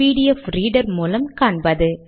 PDF reader மூலம் காண்பது